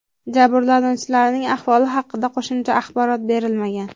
Jabrlanuvchilarning ahvoli haqida qo‘shimcha axborot berilmagan.